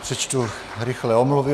Přečtu rychle omluvy.